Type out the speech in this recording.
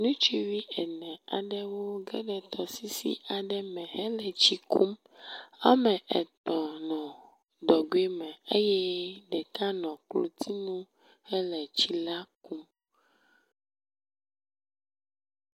nutsuvi ene aɖewo wó geɖe tɔsisi aɖe me hele tsi kum, woametɔ̃ nɔ dɔgoe me eye ɖeka nɔ klotinu hele tsi la kum